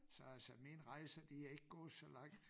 Så altså mine rejser de er ikke gået så langt